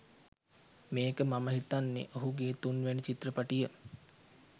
මේක මම හිතන්නේ ඔහුගේ තුන් වැනි චිත්‍රපටිය